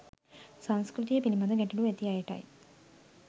සංස්කෘතිය පිළිබඳ ගැටලු ඇති අයටයි